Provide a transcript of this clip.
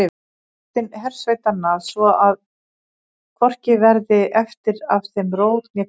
Dottinn hersveitanna, svo að hvorki verði eftir af þeim rót né kvistur.